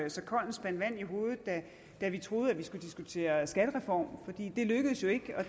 så kold en spand vand i hovedet da vi troede at vi skulle diskutere skattereform det lykkedes jo ikke og